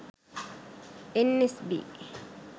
nsb